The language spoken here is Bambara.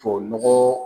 Tubabu nɔgɔ